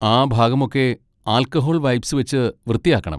ആ ഭാഗമൊക്കെ alcohol wipes വെച്ച് വൃത്തിയാക്കണം.